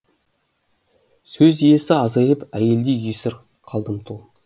сөз иесі азайып әйелдей жесір қалдым тұл